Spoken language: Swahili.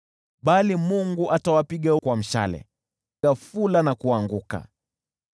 Bali Mungu atawapiga kwa mishale, nao ghafula wataangushwa.